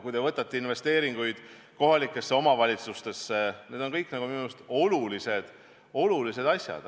Kui te võtate kas või investeeringud kohalikesse omavalitsustesse, siis need kõik on minu meelest olulised asjad.